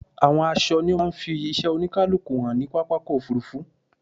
Àwọn aṣọ ni ó máa ń fi iṣẹ́ oníkálukú hàn ní pápákọ̀ òfurufú.